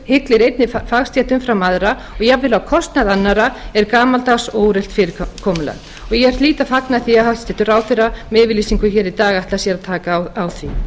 hyglir einni fagstétt umfram aðra og jafnvel á kostnað annarra er gamaldags og úrelt fyrirkomulag og ég hlýt að fagna því að hæstvirtur ráðherra með yfirlýsingu hér í dag ætlar sér að taka á því